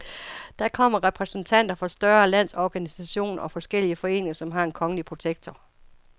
Der kommer repræsentanter for større landsorganisationer og forskellige foreninger, som har en kongelige protektor.